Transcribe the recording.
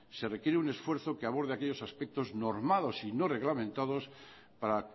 se requiere un esfuerzo que aborde aquellos aspectos normados y no reglamentados para